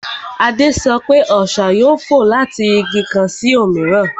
Adé sọ pé, Ọṣà yóò fò láti Igi kan sí òmíràn